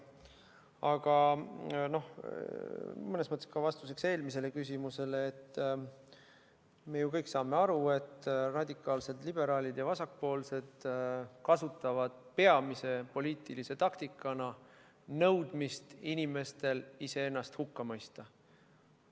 Aga – mõnes mõttes ka vastuseks eelmisele küsimusele – me ju kõik saame aru, et radikaalsed liberaalid ja vasakpoolsed kasutavad peamise poliitilise taktikana nõudmist, et inimesed iseennast hukka mõistaksid.